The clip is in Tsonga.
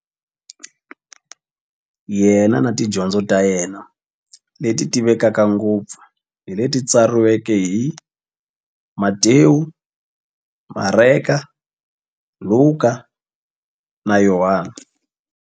Yena na tidyondzo ta yena, leti tivekaka ngopfu hi leti tsariweke hi-Matewu, Mareka, Luka, na Yohani.